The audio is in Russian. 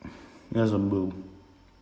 я забыл